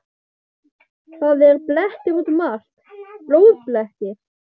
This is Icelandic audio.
Það eru blettir út um allt. blóðblettir!